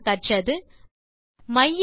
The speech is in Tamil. இந்த டியூட்டோரியல் லில் நாம் கற்றது